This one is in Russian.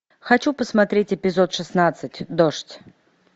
хочу посмотреть эпизод шестнадцать дождь